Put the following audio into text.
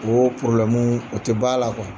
Oo porobulɛmu o tɛ b'an la kuwa